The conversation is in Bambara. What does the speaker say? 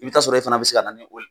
I bɛ t'a sɔrɔ i fana bɛ se ka na ni